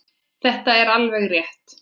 Þetta er alveg rétt.